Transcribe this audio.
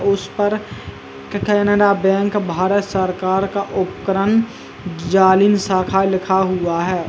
उस पर केनरा बैंक भारत सरकार का उपकरण जालिम शाखा लिखा हुआ है।